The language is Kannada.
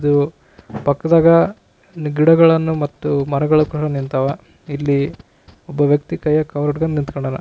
ಇದು ಪಕ್ಕದಾಗ ಇಲ್ಲಿ ಗಿಡಗಳನ್ನು ಮತ್ತು ಮರಗಳನ್ನು ಕೂಡ ನಿಂತವ ಇಲ್ಲಿ ಒಬ್ಬ ವ್ಯಕ್ತಿ ಕೈಯಲ್ಲಿ ಕವರ್ ಹಿಡ್ಕೊಂಡನ ನಿಂತಾನ.